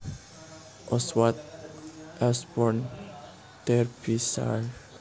Oswald Ashbourne Derbyshire